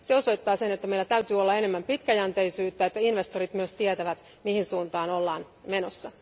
Se osoittaa, että meillä täytyy olla enemmän pitkäjänteisyyttä ja että investoijat myös tietävät, mihin suuntaan ollaan menossa.